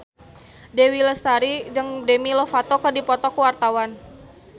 Dewi Lestari jeung Demi Lovato keur dipoto ku wartawan